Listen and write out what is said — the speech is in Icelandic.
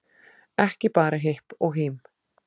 Ekki bara hipp og hím